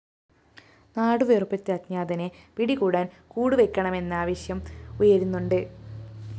നാടുവിറപ്പിച്ച അജ്ഞാതനെ പിടികൂടാന്‍ കൂടുവെക്കണമെന്ന ആവശ്യം ഉയരുന്നുണ്ട്